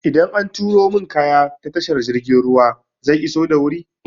Idan an turo min kaya ta tashar jirgin ruwa zai iso da wuri?